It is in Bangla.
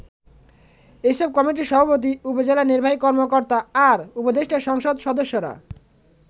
এসব কমিটির সভাপতি উপজেলা নির্বাহী কর্মকর্তা আর উপদেষ্টা সংসদ সদস্যরা।